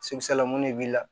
la mun de b'i la